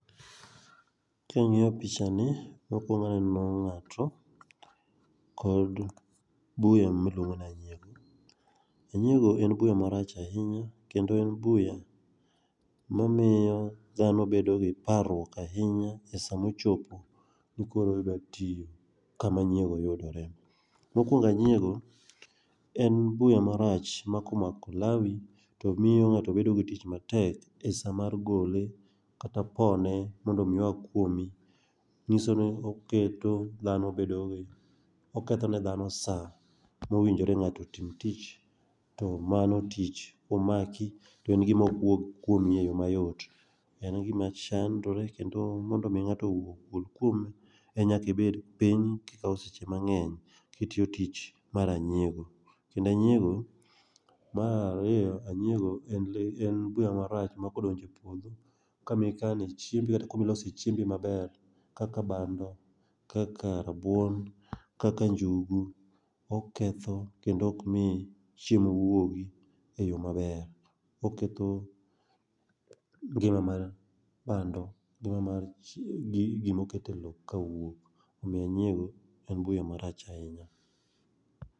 Kiang'iyo picha ni, mokwongo aneno ng'ato kod buya miluongo ni anyiego. Anyiego en buya marach ahinya kendo en buya mamiyo dhano bedo gi parruok ahinya e sa mochopo ni koro ida tiyo kama anyiego yudore. Mokwongo, anyiego en buya marach ma komako lawi to miyo ng'ato bedo gi tich matek e sa mar gole kata pone mondo omi oa kuomi. Ng'iso ni oketo dhano bedo gi, oketo ne dhano sa mowinjre ng'ato otim tich, to mano tich komaki to en gima ok wuog kuomi e yo mayot. Kendo en gima chandore kendo mondo omi ng'ato ogol kuome, nyaka ibed piny kikawo seche mang'eny kitiyo tich mar anyiego. Kendo anyiego, mar ariyo, anyiego en buya marach ma kodonjo e puodho kama ikane chiembi kata kama ilose chiembi maber kaka bando, kaka rabuon, kaka njugu, oketho kendo ok mi chiemo wuogi e yo maber. Oketho ngima mar bando, ngima mar gimoket e lowo kawuok. Omiyo onyiego en buya marach ahinya.